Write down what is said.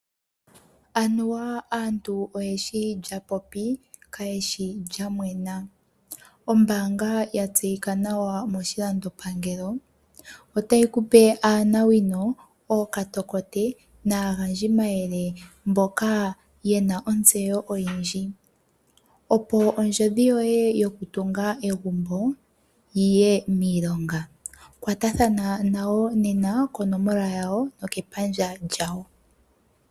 Anuwa aantu oyeshi lya popi kayeshi lyamwena. Ombaanga ya tseyika nawa moshilando pangelo otayi ku pe aanawino, ookatokote naagandji mayele mboka yena ontseyo oyindji opo ondjodhi yoye yoku tunga egumbo yiye miilonga. Kwatathana nayo nena konomola yawo nokepandja lyawo.